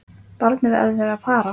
Barnið verður að fara.